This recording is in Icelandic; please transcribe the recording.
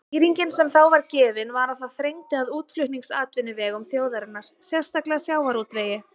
Skýringin sem þá var gefin var að það þrengdi að útflutningsatvinnuvegum þjóðarinnar, sérstaklega sjávarútvegi.